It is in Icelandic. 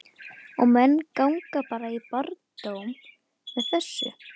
Og menn ganga bara í barndóm með þessu?